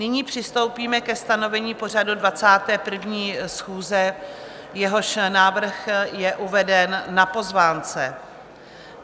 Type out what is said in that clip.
Nyní přistoupíme ke stanovení pořadu 21. schůze, jehož návrh je uveden na pozvánce.